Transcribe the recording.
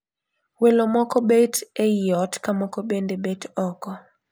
Welo moko bet e I ot ka moko bende bet oko.